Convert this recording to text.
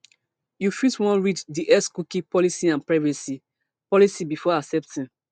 you fit wan read di xcookie policyandprivacy policybefore accepting